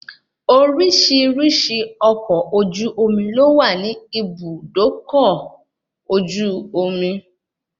Oríṣiríṣi ọkọ ojú omi ló wà ní ibùdó ọkọ ojú omi